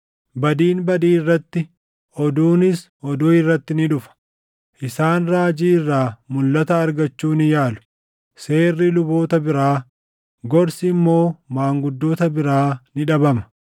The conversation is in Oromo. Badiin badii irratti, oduunis, oduu irratti ni dhufa. Isaan raajii irraa mulʼata argachuu ni yaalu; seerri luboota biraa, gorsi immoo maanguddoota biraa ni dhabama.